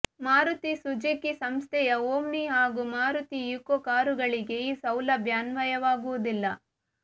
Maruti Suzuki ಸಂಸ್ಥೆಯ Omni ಹಾಗೂ Maruti Eeco ಕಾರುಗಳಿಗೆ ಈ ಸೌಲಭ್ಯ ಅನ್ವಯವಾಗುವುದಿಲ್ಲ